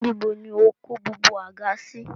Níbo ni o kó gbogbo àga sí?